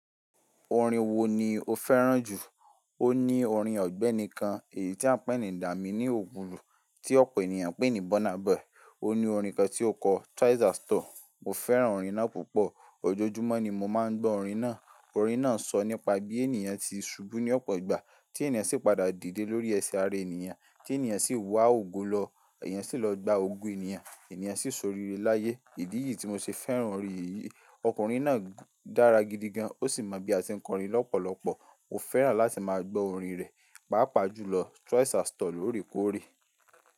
Orin wo ni o fẹ́ràn jù? O ní orin Ọ̀gbẹ́ni kan èyí tí a ń pè ní Dami ni ògùn, tí ọ̀pọ̀ ènìyàn ń pè ní Burna Boy. O ní orin kan tí ó kọ "Twice as tall". Mo fẹ́ràn orin náà púpọ̀. Ojoojúmọ́ ni mo máa ń gbọ́ orin náà. Orin náà sọ nípa bí ènìyàn ti ṣubú ní ọ̀pọ̀ ìgbà, tí ènìyàn sì padà dìde lórí ẹ̀sẹ̀ ara ènìyàn, tí ènìyàn sì wá ògùn lọ, ènìyàn sì lọ gba ogún ènìyàn, ènìyàn sì ṣoríre láyé. Ìdí ìyí tí mo ṣe fẹ́ràn orin yìí, ọkùnrin náà dára gidi gan, ó sì mọ bí a ti ń kọrin lọ́pọ̀lọpọ̀. Mo fẹ́ràn láti máa gbọ́ orin rẹ̀, pàápàá jùlọ "Twice as tall" lóòrèkóòrè.